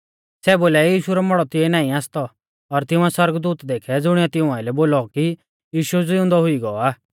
सै बोलाई यीशु रौ मौड़ौ तिऐ नाईं आसतौ और तिंउऐ सौरगदूत देखै ज़ुणिऐ तिऊं आइलै बोलौ कि यीशु ज़िउंदौ हुई गौ आ